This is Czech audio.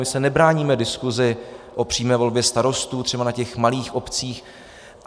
My se nebráníme diskusi o přímé volbě starostů třeba na těch malých obcích.